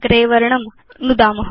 Gray वर्णं नुदाम